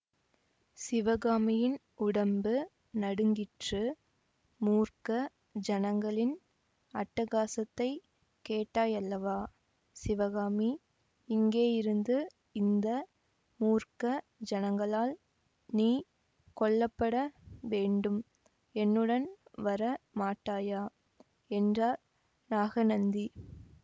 சிவகாமியின் உடம்பு நடுங்கிற்று மூர்க்க ஜனங்களின் அட்டகாசத்தைக் கேட்டாயல்லவா சிவகாமி இங்கேயிருந்து இந்த மூர்க்க ஜனங்களால் நீ கொல்லப்பட வேண்டும் என்னுடன் வர மாட்டாயா என்றார் நாகநந்தி